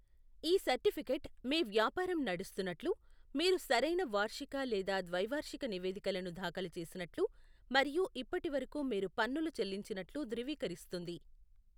ఈ సర్టిఫికేట్ మీ వ్యాపారం నడుస్తున్నట్లు, మీరు సరైన వార్షిక లేదా ద్వైవార్షిక నివేదికలను దాఖలు చేసినట్లు, మరియు ఇప్పటివరకు మీరు పన్నులు చెల్లించినట్లు ధృవీకరిస్తుంది.